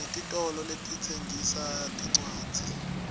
sinetitolo letitsengisa tincwadzi